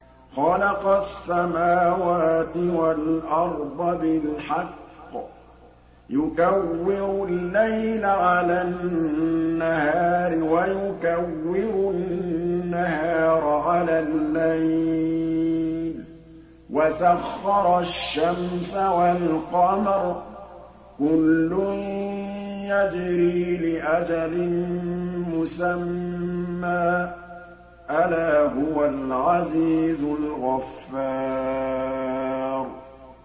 خَلَقَ السَّمَاوَاتِ وَالْأَرْضَ بِالْحَقِّ ۖ يُكَوِّرُ اللَّيْلَ عَلَى النَّهَارِ وَيُكَوِّرُ النَّهَارَ عَلَى اللَّيْلِ ۖ وَسَخَّرَ الشَّمْسَ وَالْقَمَرَ ۖ كُلٌّ يَجْرِي لِأَجَلٍ مُّسَمًّى ۗ أَلَا هُوَ الْعَزِيزُ الْغَفَّارُ